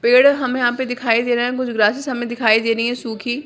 पेड़ हमें यहाँ पे दिखाई दे रहा है कुछ ग्रसेस हमें दिखाई दे रही है सुखी --